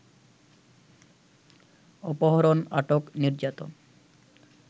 অপহরণ, আটক, নির্যাতন